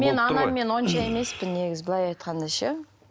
мен анаммен онша емеспін негізі былай айтқанда ше